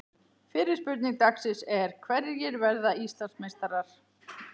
Fyrri spurning dagsins er: Hverjir verða Íslandsmeistarar?